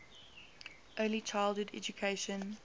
early childhood education